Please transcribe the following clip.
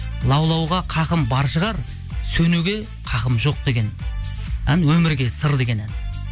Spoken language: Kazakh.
лаулауға хақым бар шығар сөнуге хақым жоқ деген ән өмірге сыр деген ән